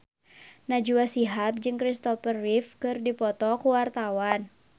Najwa Shihab jeung Kristopher Reeve keur dipoto ku wartawan